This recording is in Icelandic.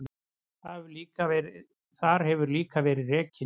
Þar hefur líka verið rekin